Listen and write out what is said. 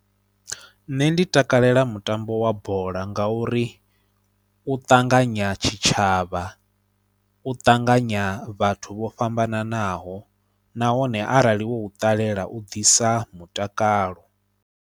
Nṋe ndi takalela mutambo wa bola ngauri u ṱanganya tshitshavha, u ṱanganya vhathu vho fhambananaho nahone arali wo u ṱalela u ḓisa mutakalo.